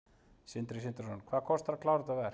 Sindri Sindrason: Hvað kostar að klára þetta verk?